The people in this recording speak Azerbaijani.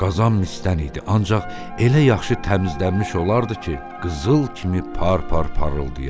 Qazan misdən idi, ancaq elə yaxşı təmizlənmiş olardı ki, qızıl kimi par-par parıldayardı.